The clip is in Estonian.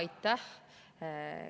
Aitäh!